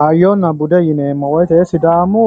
Hayyonna bude yineemmo woyte sidaamu